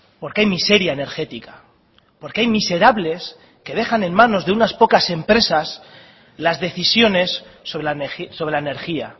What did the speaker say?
porque hay miseria energética porque hay miserables que dejan en manos de unas pocas empresas las decisiones sobre la energía